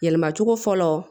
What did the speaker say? Yɛlɛma cogo fɔlɔ